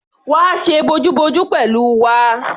Wá ṣe bojúbojú pẹ̀lú wa!